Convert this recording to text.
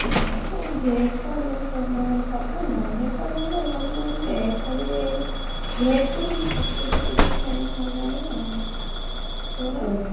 ମୁଁ veg ଟା ମାନେ ଭଲ ଲାଗେ, non-veg ଟା ଭଲ ଲାଗେ ସବୁଠୁ କିନ୍ତୁ veg ଟା ଟିକେ veg ରେ ସେଇ ଛତୁ ଫତୁ ଟିକେ ଖାଇବାକୁ ଭଲ ଲାଗେ ଆଉ ତୋର?